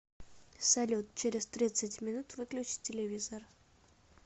салют через тридцать минут выключи телевизор